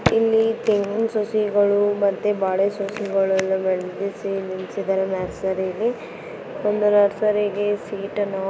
ಇಲ್ಲಿ ತೆಂಗಿನ್ ಸಸಿಗಳು ಮತೇ ಬಾಳೆ ಸಸಿಗಳು ಬೆಳಸಿ ನಿಂತ್ಸಿದ್ದಾರೆ ನರ್ಸರಿಯಲ್ಲಿ ಒಂದು ನರ್ಸರಿಗೆ ಸೀಟನ್ನು --